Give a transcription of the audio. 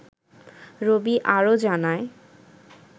রবি আরও জানায়